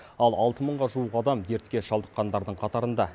ал алты мыңға жуық адам дертке шалдыққандардың қатарында